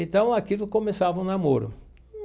Então aquilo começava um namoro.